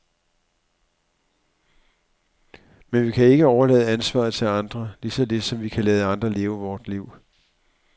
Men vi kan ikke overlade ansvaret til andre, lige så lidt som vi kan lade andre leve vort liv.